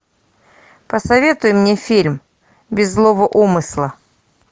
посоветуй мне фильм без злого умысла